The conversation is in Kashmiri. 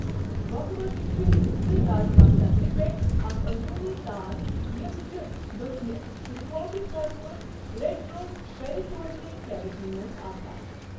بۄکہٕ وَچہِ چھِ زٕ رازما شَکلہٕ پؠٹھ اَکھ اۆنٛدروٗنی تان یِم چھِ دۄچھنہٕ تہٕ کھووُرِ طَرفہٕ ریٹروپیرِٹونِیل کیوِٹی مَنٛز آسان۔